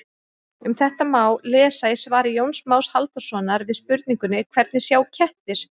Um þetta má lesa í svari Jóns Más Halldórssonar við spurningunni Hvernig sjá kettir?